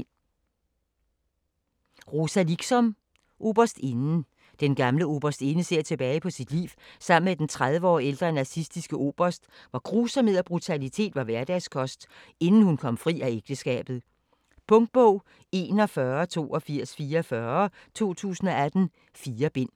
Liksom, Rosa: Oberstinden Den gamle Oberstinde ser tilbage på sit liv sammen med den 30 år ældre nazistiske Oberst, hvor grusomhed og brutalitet var hverdagskost, inden hun kom fri af ægteskabet. Punktbog 418244 2018. 4 bind.